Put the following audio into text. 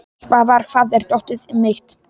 Svafar, hvar er dótið mitt?